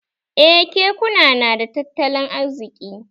Eh kekuna nada tattalin arziki